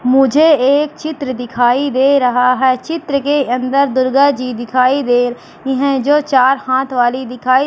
मुझे एक चित्र दिखाई दे रहा है। चित्र के अंदर दुर्गा जी दिखाई दे रही है जो चार हाथ वाली दिखाई--